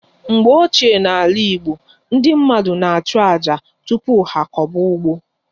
Mgbe ochie n'ala Igbo, ndị mmadụ na achụ àjà tupu ha akoba ụgbọ